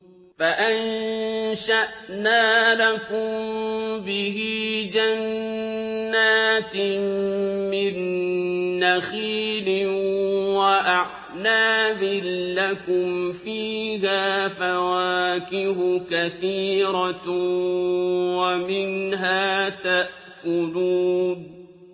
فَأَنشَأْنَا لَكُم بِهِ جَنَّاتٍ مِّن نَّخِيلٍ وَأَعْنَابٍ لَّكُمْ فِيهَا فَوَاكِهُ كَثِيرَةٌ وَمِنْهَا تَأْكُلُونَ